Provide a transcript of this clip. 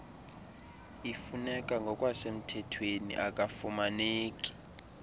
ifuneka ngokwasemthethweni akafumaneki